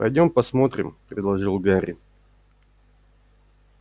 пойдём посмотрим предложил гарри